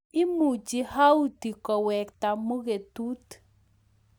Imuchi Houti kowektaa muketuut